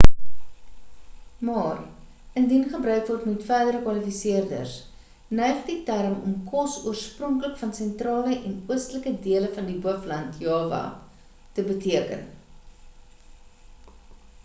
maar indien gebruik word met verdere kwalifiseerders neig die term om kos oorspronklik van sentrale en oostelike dele van hoofland java te beteken